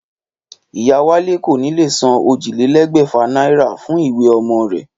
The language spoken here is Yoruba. Ìyá Wálé kò ní lè san ójìlélégbèfà náírà fún ìwé omo rè